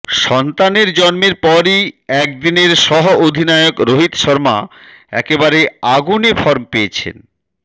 সন্তানের জন্মের পরই একদিনের সহঅধিনায়ক রোহিত শর্মা একেবারে আগুনে ফর্ম পেয়েছেন